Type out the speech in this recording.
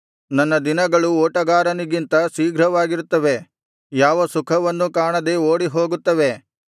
ನನ್ನ ದಿನಗಳು ಓಟಗಾರನಿಗಿಂತ ಶೀಘ್ರವಾಗಿರುತ್ತವೆ ಯಾವ ಸುಖವನ್ನೂ ಕಾಣದೆ ಓಡಿ ಹೋಗುತ್ತವೆ